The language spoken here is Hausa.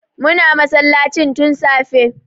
Muna masallacin tun safe